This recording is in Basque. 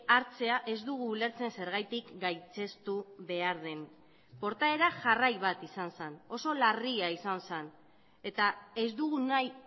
hartzea ez dugu ulertzen zergatik gaitzestu behar den portaera jarrai bat izan zen oso larria izan zen eta ez dugu nahi